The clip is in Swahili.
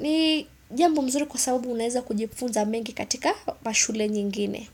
ni jambo mzuri kwa sababu unaweza kujifunza mengi katika mashule nyingine.